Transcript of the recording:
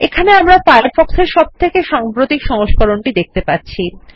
এখানে আমরা ফায়ারফক্ষ এর সবথেকে সাম্প্রতিক সংস্করণ দেখতে পাচ্ছি